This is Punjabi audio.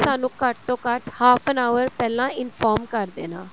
ਸਾਨੂੰ ਘੱਟ ਤੋਂ ਘੱਟ half an hour ਪਹਿਲਾਂ inform ਕ਼ਰ ਦੇਣਾ